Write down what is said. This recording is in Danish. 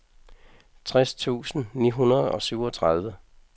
tres tusind ni hundrede og syvogtredive